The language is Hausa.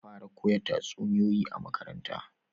Za fara koya tatsuniyoyi a makaranta